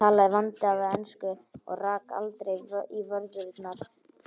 Hann talaði vandaða ensku og rak aldrei í vörðurnar.